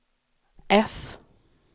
F